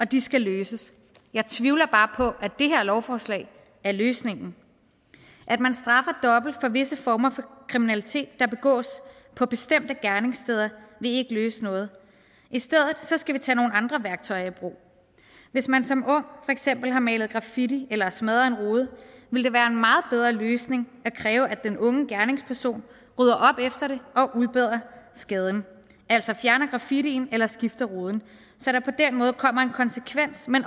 de skal løses jeg tvivler bare på at det her lovforslag er løsningen at man straffer dobbelt for visse former for kriminalitet der begås på bestemte gerningssteder vil ikke løse noget i stedet skal vi tage nogle andre værktøjer i brug hvis man som ung eksempel har malet graffiti eller smadret en rude vil det være en meget bedre løsning at kræve at den unge gerningsperson rydder op efter og udbedrer skaden altså fjerner graffitien eller skifter ruden så der på den måde kommer en konsekvens men